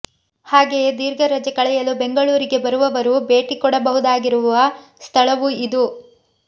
ಹಾಗೆಯೇ ದೀರ್ಘ ರಜೆ ಕಳೆಯಲು ಬೆಂಗಳೂರಿಗೆ ಬರುವವರೂ ಭೇಟಿ ಕೊಡಬಹುದಾಗಿರುವ ಸ್ಥಳವೂ ಇದು